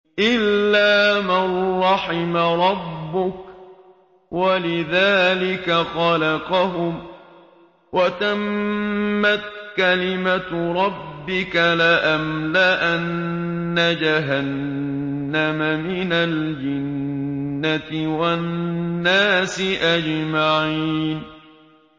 إِلَّا مَن رَّحِمَ رَبُّكَ ۚ وَلِذَٰلِكَ خَلَقَهُمْ ۗ وَتَمَّتْ كَلِمَةُ رَبِّكَ لَأَمْلَأَنَّ جَهَنَّمَ مِنَ الْجِنَّةِ وَالنَّاسِ أَجْمَعِينَ